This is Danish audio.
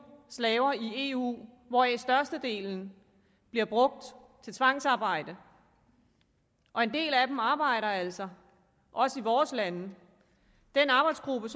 slaver i eu hvoraf størstedelen bliver brugt til tvangsarbejde og en del af dem arbejder altså også i vores lande den arbejdsgruppe